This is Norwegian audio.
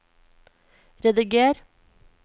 rediger